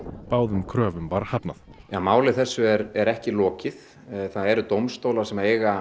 báðum kröfum var hafnað máli þessu er er ekki lokið það eru dómstólar sem eiga